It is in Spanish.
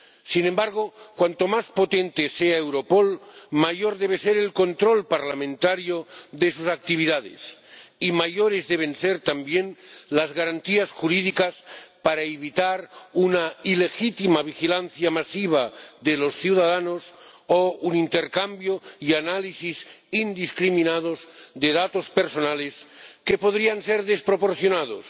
Sin embargo, cuanto más potente sea Europol, mayor debe ser el control parlamentario de sus actividades y mayores deben ser también las garantías jurídicas para evitar una ilegítima vigilancia masiva de los ciudadanos o un intercambio y análisis indiscriminados de datos personales, que podrían ser desproporcionados,